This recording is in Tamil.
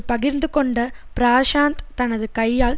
பகிர்ந்துக்கொண்ட பிராஷாந்த் தனது கையால்